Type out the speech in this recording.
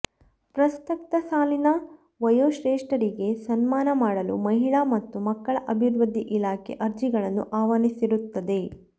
ಪ್ರಸಕ್ತ ಸಾಲಿನ ವಯೋಶ್ರೇಷ್ಠರಿಗೆ ಸನ್ಮಾನ ಮಾಡಲು ಮಹಿಳಾ ಮತ್ತು ಮಕ್ಕಳ ಅಭಿವೃದ್ಧಿ ಇಲಾಖೆ ಅರ್ಜಿಗಳನ್ನು ಆಹ್ವಾನಿಸಿರುತ್ತದೆ